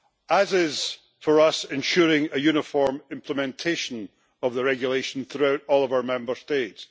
as is ensuring uniform implementation of the regulation throughout all of our Member States.